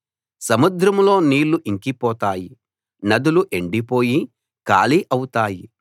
సముద్రంలో నీళ్ళు ఇంకిపోతాయి నదులు ఎండిపోయి ఖాళీ అవుతాయి